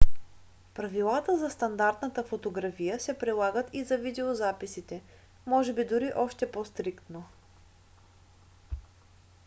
правилата за стандартната фотография се прилагат и за видеозаписите може би дори още по-стриктно